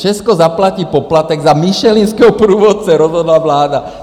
Česko zaplatí poplatek za Michelinského průvodce, rozhodla vláda.